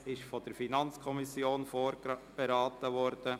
Das Gesetz ist von der FiKo vorberaten worden.